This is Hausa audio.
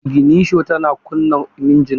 Iginisho tana kunna injin motar.